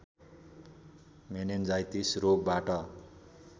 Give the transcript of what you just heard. meningitis रोगबाट